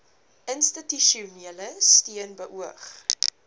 institusionele steun beoog